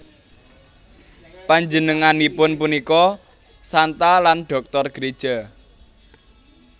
Panjenenganipun punika Santa lan Dhoktor Gréja